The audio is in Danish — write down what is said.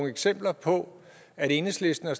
eksempler på at enhedslisten har